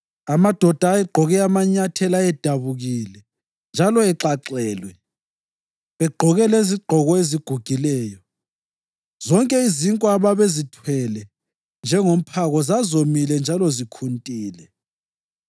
Amadoda ayegqoke amanyathela ayedabukile njalo exaxelwe, begqoke lezigqoko ezigugileyo. Zonke izinkwa ababezithwele njengomphako zazomile njalo zikhuntile.